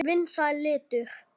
Vinsæll litur.